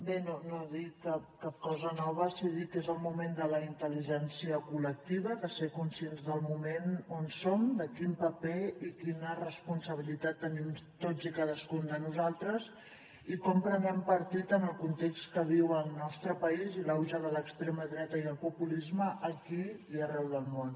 bé no dic cap cosa nova si dic que és el moment de la intel·ligència col·lectiva de ser conscients del moment on som de quin paper i quina responsabilitat tenim tots i cadascun de nosaltres i com prenem partit en el context que viu el nostre país i l’auge de l’extrema dreta i el populisme aquí i arreu del món